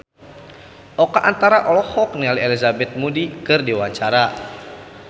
Oka Antara olohok ningali Elizabeth Moody keur diwawancara